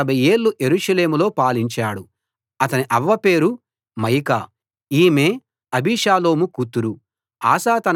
అతడు 40 ఏళ్ళు యెరూషలేములో పాలించాడు అతని అవ్వ పేరు మయకా ఈమె అబీషాలోము కూతురు